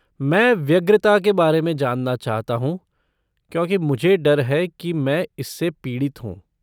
मैं व्यग्रता के बारे में जानना चाहता हूँ क्योंकि मुझे डर है कि मैं इससे पीड़ित हूँ।